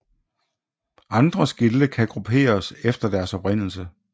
Andre skilte kan grupperes efter deres oprindelse